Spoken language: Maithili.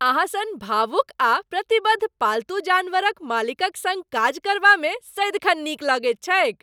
अहाँ सन भावुक आ प्रतिबद्ध पालतू जानवरक मालिकक सङ्ग काज करबामे सदिखन नीक लगैत छैक।